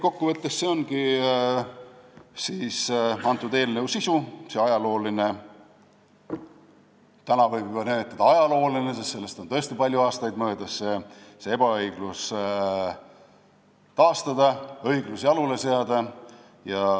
Kokkuvõttes ongi see eelnõu sisu: ajalooline – täna võib juba öelda, et see on ajalooline, sest sellest on tõesti palju aastaid möödas – ebaõiglus tuleb kaotada ja õiglus jalule seada.